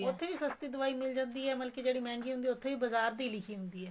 ਉੱਥੇ ਵੀ ਸਸਤੀ ਦਵਾਈ ਮਿਲ ਜਾਂਦੀ ਏ ਮਤਲਬ ਕੀ ਜਿਹੜੀ ਮਹਿੰਗਈ ਹੁੰਦੀ ਏ ਉੱਥੇ ਵੀ ਬਾਜ਼ਾਰ ਦੀ ਲਿਖੀ ਹੁੰਦੀ ਏ